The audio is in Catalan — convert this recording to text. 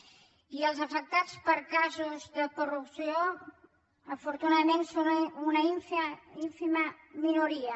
i els afectats pels casos de corrupció afortunadament són una ínfima minoria